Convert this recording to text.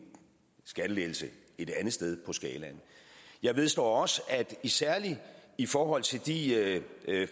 skattelettelse et andet sted på skalaen jeg vedstår også at særlig i forhold til de